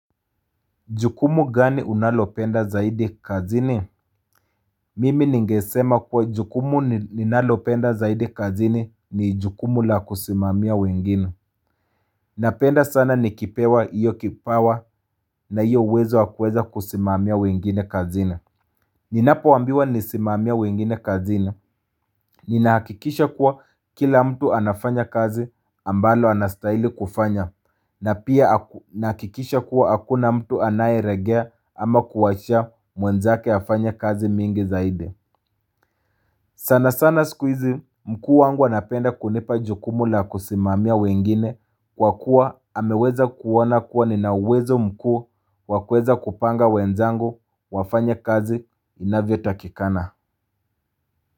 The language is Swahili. Jukumu gani unalopenda zaidi kazini? Mimi ningesema kuwa jukumu ninalopenda zaidi kazini ni jukumu la kusimamia wengine. Napenda sana nikipewa hiyo kipawa na hiyo uwezo wakuweza kusimamia wengine kazini. Ninapo ambiwa nisimamie wengine kazini. Ninahakikisha kuwa kila mtu anafanya kazi ambalo anastahili kufanya. Na pia nahakikisha kuwa hakuna mtu anaye legea ama kuwacha mwenzake afanye kazi mingi zaidi. Sana sana sikuizi mkuu wangu anapenda kunipa jukumu la kusimamia wengine kwa kuwa ameweza kuona kuwa ninauwezo mkuu wakuweza kupanga wenzangu wafanye kazi inavyo takikana.